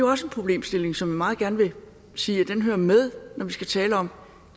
også en problemstilling som jeg meget gerne vil sige hører med når vi skal tale om